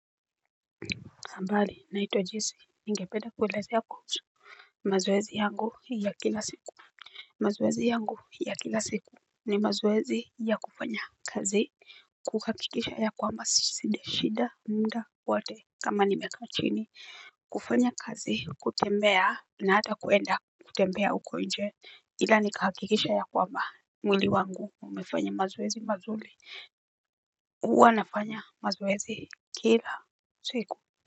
Habari naitwa Jesee nigependa kuelezea kuhusu mazoezi yangu ya kila siku. Mazoezi yangu ya kila siku ni mazoezi ya kufanya kazi, kuhakikisha ya kwamba sujashinda muda wote kama nimekaa chini. Kufanya kazi, kutembea na hata kuenda kutembea huko nje, ila nikahakikisha ya kwamba mwili wangu umefanya mazoezi mazuri huwa nafanya mazoezi kila siku.